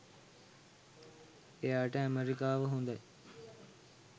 එයාට ඇමෙරිකාව හොඳයි